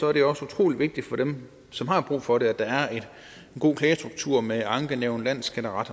er det også utrolig vigtigt for dem som har brug for det at der er en god klagestruktur med ankenævn landsskatteret